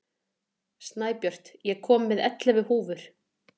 Snæbjört, ég kom með ellefu húfur!